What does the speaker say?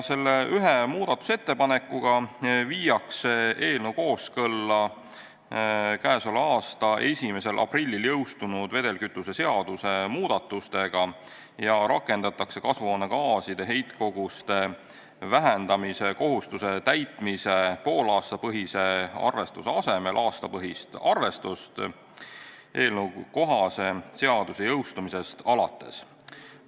Selle ühe muudatusettepanekuga viiakse eelnõu kooskõlla käesoleva aasta 1. aprillil jõustunud vedelkütuse seaduse muudatustega ja rakendatakse kasvuhoonegaaside heitkoguste vähendamise kohustuse täitmise poolaastapõhise arvestuse asemel aastapõhist arvestust eelnõukohase seaduse jõustumisest alates.